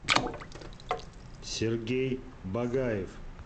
сергей багаев